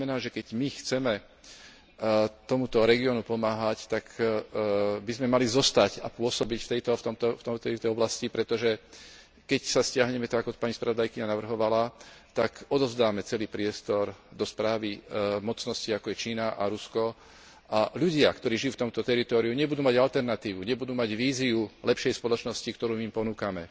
To znamená, že keď my chceme tomuto regiónu pomáhať, tak by sme mali zostať a pôsobiť v tejto oblasti, pretože keď sa stiahneme, tak ako pani spravodajkyňa navrhovala, tak odovzdáme celý priestor do správy mocností, ako je Čína a Rusko, a ľudia, ktorí žijú v tomto teritóriu nebudú mať alternatívu, nebudú mať víziu lepšej spoločnosti, ktorú im ponúkame.